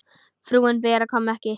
Frúin Bera kom ekki.